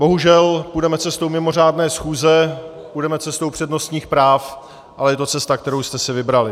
Bohužel půjdeme cestou mimořádné schůze, půjdeme cestou přednostních práv, ale je to cesta, kterou jste si vybrali.